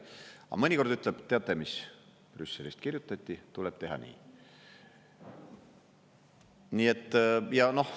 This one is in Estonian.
Aga mõnikord ütleb: "Teate mis, Brüsselist kirjutati, tuleb teha nii.